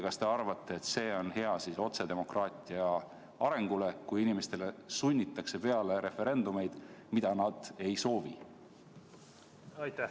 Kas te arvate, et see on otsedemokraatia arengule hea, kui inimestele sunnitakse peale referendumeid, mida nad ei soovi?